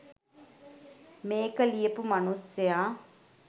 මේක ලියපු මනුස්සයා